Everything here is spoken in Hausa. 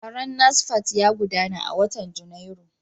Taron NASFAT ya gudana a watan Janairu.